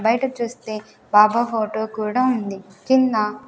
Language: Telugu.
బయట చూస్తే బాబా ఫోటో కూడా ఉంది కింద--